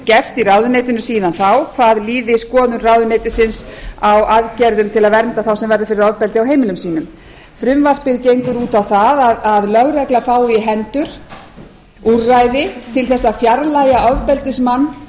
gerst í ráðuneytinu síðan þá hvað líði skoðun ráðuneytisins á aðgerðum til að senda þá sem verða fyrir ofbeldi á heimilum sínum frumvarpið gengur út á það að lögregla fái í hendur úrræði til að fjarlægja ofbeldismann